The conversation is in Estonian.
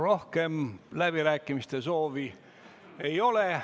Rohkem läbirääkimiste soovi ei ole.